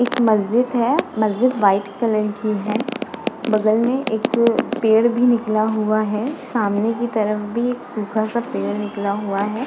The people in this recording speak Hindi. एक मस्जिद है मस्जिद वाइट कलर की है। बगल में एक पेड़ भी निकला हुआ है। सामने कि तरफ भी एक सूखा सा पेड़ निकला हुआ है।